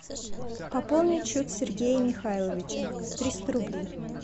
пополнить счет сергея михайловича триста рублей